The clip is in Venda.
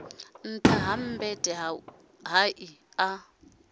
nṱtha ha mmbete hai a